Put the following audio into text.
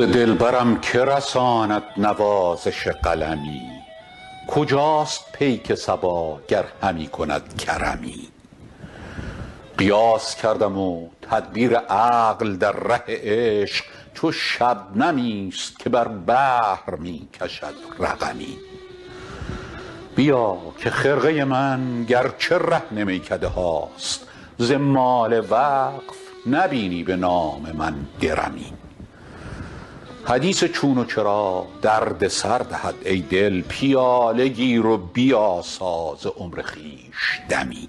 ز دلبرم که رساند نوازش قلمی کجاست پیک صبا گر همی کند کرمی قیاس کردم و تدبیر عقل در ره عشق چو شبنمی است که بر بحر می کشد رقمی بیا که خرقه من گر چه رهن میکده هاست ز مال وقف نبینی به نام من درمی حدیث چون و چرا درد سر دهد ای دل پیاله گیر و بیاسا ز عمر خویش دمی